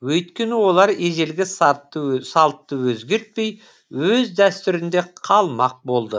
өйткені олар ежелгі салтты өзгертпей өз дәстүрінде қалмақ болды